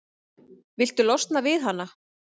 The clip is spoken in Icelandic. Viltu losna við hana?